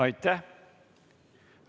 Aitäh!